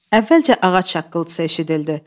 Əvvəlcə ağac şaqqıltısı eşidildi.